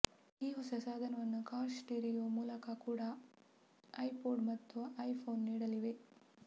ಈ ಹೊಸ ಸಾಧನವನ್ನು ಕಾರ್ ಸ್ಟಿರಿಯೋ ಮೂಲಕ ಕೂಡ ಐಪೋಡ್ ಮತ್ತು ಐಫೊನ್ ನೀಡಲಿವೆ